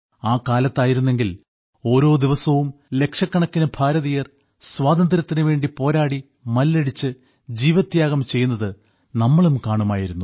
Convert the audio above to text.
ആ കാലത്തായിരുന്നെങ്കിൽ ഓരോ ദിവസവും ലക്ഷക്കണക്കിന് ഭാരതീയർ സ്വാതന്ത്ര്യത്തിനു വേണ്ടി പോരാടി മല്ലടിച്ച് ജീവത്യാഗം ചെയ്യുന്നത് നമ്മളും കാണുമായിരുന്നു